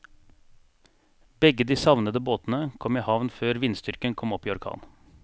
Begge de savnede båtene kom i havn før vindstyrken kom opp i orkan.